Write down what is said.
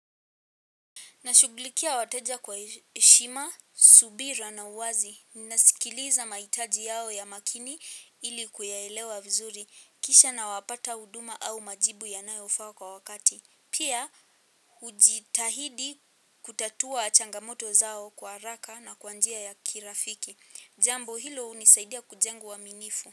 Na shughulikia wateja kwa heshima, subira na uwazi. Nasikiliza mahitaji yao ya makini ili kuyaelewa vizuri. Kisha nawapata huduma au majibu yanayofaa kwa wakati. Pia ujitahidi kutatua changamoto zao kwa haraka na kwa njia ya kirafiki. Jambo hilo hunisaidia kujenga uaminifu.